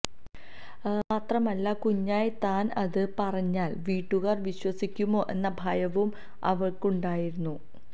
മാത്രമല്ല കുഞ്ഞായ താന് അത് പറഞ്ഞാല് വീട്ടുകാര് വിശ്വസിക്കുമോ എന്ന ഭയവും അവള്ക്കുണ്ടായിരുന്നു